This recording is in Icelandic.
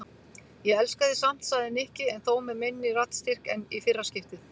Ég elska þig samt sagði Nikki en þó með minni raddstyrk en í fyrra skiptið.